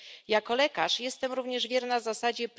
Jako lekarz jestem również wierna zasadzie